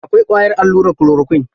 Akwai ƙwayar allurar kulorakwin.